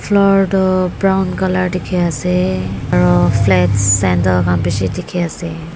Floor tuh brown colour dekeh ase aro flats sandal khan beshi dekhe ase.